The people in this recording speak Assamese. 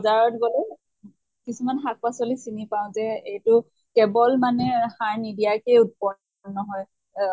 বজাৰত গলে কিছুমান শাক পাচলী চিনি পাওঁ যে এইটো কেৱল মানে সাৰ নিদিয়াকে উৎপন্ন নহয় অহ